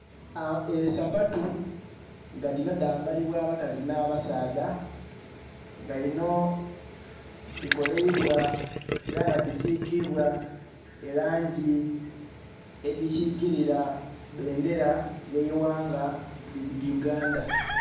Esapatu nga dhino dhambalibwa abakazi nha basaadha nga dhino dhikoleibwa era nga dhisigibwa elangi edhi kikirila ebendhera ye ghanga Uganda.